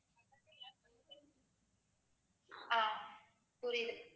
அஹ் புரியுது